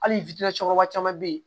Hali camanba caman be yen